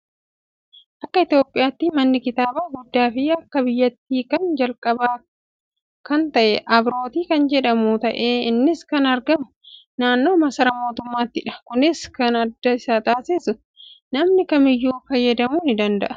Akka Itoophiyaatti manni kitaabaa guddaa fi akka biyyaatti kan calqabaa kkan ta'e Abiroot kan jedhamu ta'ee innis kan argamu naannoo maasaraa mootummaattidha. Kunis kan adda isa taasisu namni kamiyyuu fayyadamuu danda'a.